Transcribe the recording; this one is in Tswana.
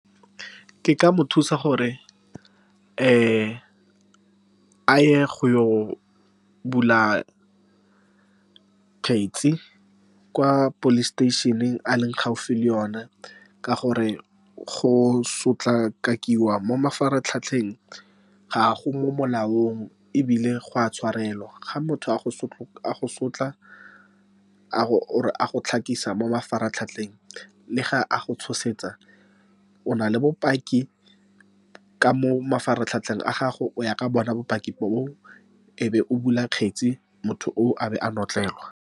Ke ka mo thusa, gore a ye go bula kgetsi kwa police station-eng e a leng gaufi le yona, ka gore go sotlakakiwa mo mafaratlhatlheng ga go mo molaong, ebile go a tshwarelwa. Ga motho a go sotla , or a go mo mafaratlhatlheng, mme ga a go tshosetsa, o na le bopaki ka mo mafaratlhatlheng a gago. O ya ka bona bopaki boo, e be o bula kgetse, motho oo a be a notlelwa.